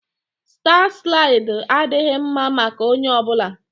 Staa slaịdị adịghị mma maka onye ọ bụla